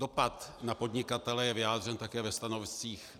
Dopad na podnikatele je vyjádřen také ve stanoviscích.